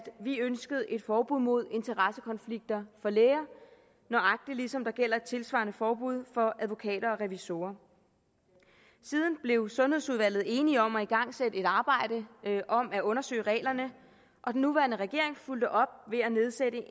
vi ønskede et forbud mod interessekonflikter for læger nøjagtig ligesom der gælder et tilsvarende forbud for advokater og revisorer siden blev sundhedsudvalget enige om at igangsætte et arbejde om at undersøge reglerne og den nuværende regering fulgte op ved at nedsætte